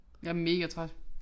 Jeg er megatræt